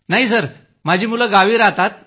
नाही सर माझी मुलं तर गावी राहतात